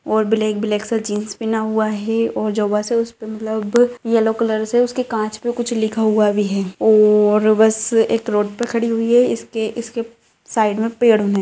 और black black सा jeans पहना हुआ है और जो बस है उसपे मतलब येल्लो कलर से उसके कांच पे कुछ लिखा हुआ भी है और बस एक रोड पे खड़ी हुई है इसके इसके साइड में पेड़ है।